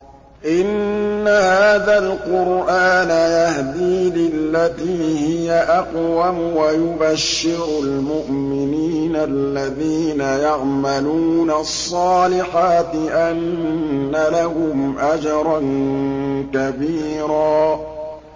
إِنَّ هَٰذَا الْقُرْآنَ يَهْدِي لِلَّتِي هِيَ أَقْوَمُ وَيُبَشِّرُ الْمُؤْمِنِينَ الَّذِينَ يَعْمَلُونَ الصَّالِحَاتِ أَنَّ لَهُمْ أَجْرًا كَبِيرًا